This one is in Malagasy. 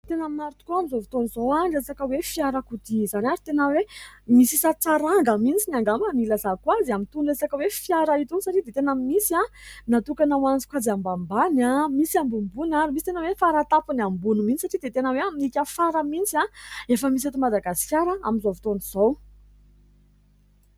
Tena maro tokoa amin'izao fotoana izao ny resaka hoe fiarakodia izany ary tena hoe misy isan-tsaranga mintsy angamba no ilazako azy amin'itony resaka hoe fiara itony satry dia tena misy natokana hoany sokajy ambanimbany, misy ambonimbony ary misy tena hoe faratapony ambony mintsy satry dia tena hoe amin'ikafarany mintsy a ! Efa misy eto Madagasikara amin'izao fotoana izao.